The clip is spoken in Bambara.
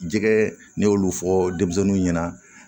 Jɛgɛ ne y'olu fɔ denmisɛnninw ɲɛna